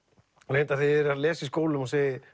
reyndar þegar ég er að lesa í skólum og segi